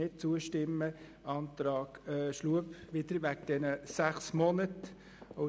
Wir haben auch den Antrag Schlup betreffend die sechs Monate besprochen.